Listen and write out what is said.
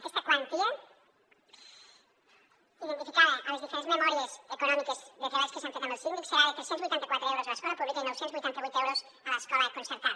aquesta quantia identificada a les diferents memòries econòmiques de treballs que s’han fet amb el síndic serà de tres cents i vuitanta quatre euros a l’escola pública i nou cents i vuitanta vuit euros a l’escola concertada